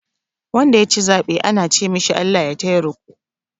Wanda ya ci zaɓe ana ce ma shi "Allah ya taya riƙo"